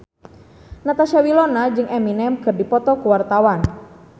Natasha Wilona jeung Eminem keur dipoto ku wartawan